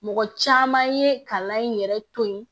Mɔgɔ caman ye kalan in yɛrɛ to yen